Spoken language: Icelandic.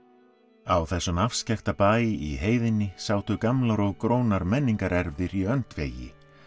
á þessum afskekkta bæ í heiðinni sátu gamlar og grónar menningarerfðir í öndvegi